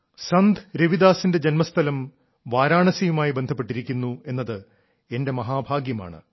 സന്ത് രവിദാസിന്റെ ജന്മസ്ഥലം വാരാണസിയുമായി ബന്ധപ്പെട്ടിരിക്കുന്ന എന്നത് എന്റെ മഹാഭാഗ്യമാണ്